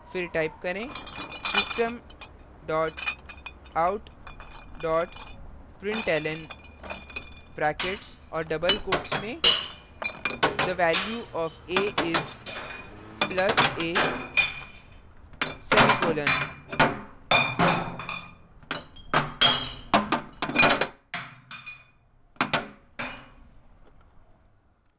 फिर type करेंsystem dot out dot println brackets और double quotes में the value of a is plus a semicolon